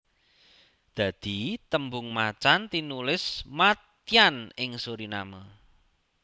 Dadi tembung macan tinulis mâtyân ing Suriname